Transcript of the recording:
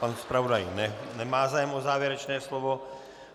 Pan zpravodaj nemá zájem o závěrečné slovo.